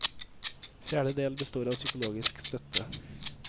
Fjerde del består av psykologisk støtte.